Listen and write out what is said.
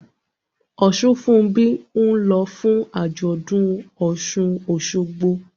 Osunfunbi ń lọ fún àjọ̀dún Osun-Osogbo